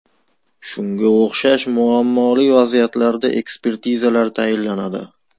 Shunga o‘xshash muammoli vaziyatlarda ekspertizalar tayinlanadi.